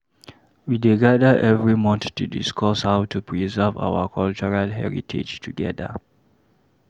We dey gather every month to discuss how to preserve our cultural heritage together.